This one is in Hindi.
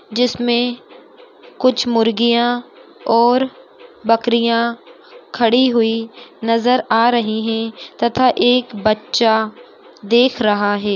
जिसमें कुछ मुर्गियाँ और बकरियां खड़ी हुई नज़र आ रही हैं तथा एक बच्चा देख रहा है।